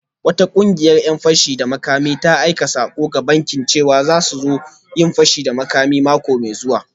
Wata kungiyar ‘yan fashi da makami ta aika sako ga bankin cewa za su zo su yi fashi a bankin mako mai zuwa